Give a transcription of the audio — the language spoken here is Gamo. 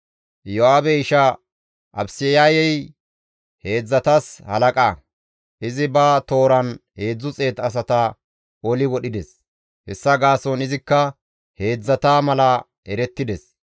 Iyo7aabe isha Abisayey heedzdzatas halaqa; izi ba tooran 300 asata oli wodhides; hessa gaason izikka heedzdzata mala erettides.